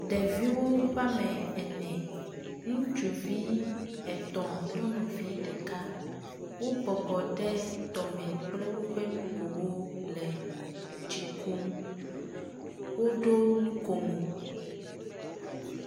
ɖeviwo woame ene ŋutsuvi etɔ̃ kple nyɔnuvi ɖeka wó bɔbɔ ɖe tɔme kple wóƒɛ nugowo le tsi kum woɖó nukomo